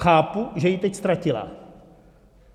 Chápu, že ji teď ztratila.